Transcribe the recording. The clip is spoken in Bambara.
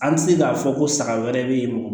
An tɛ se k'a fɔ ko saga wɛrɛ bɛ yen mɔgɔ